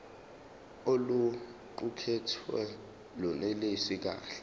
oluqukethwe lunelisi kahle